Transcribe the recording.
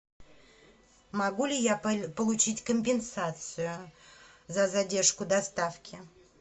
могу ли я получить компенсацию за задержку доставки